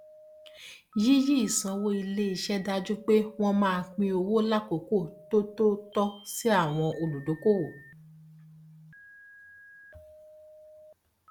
yíyí ìsanwó iléiṣẹ dájú pé wọn máa pín owó lákòókò tó tó tọ sí àwọn olùdókòwò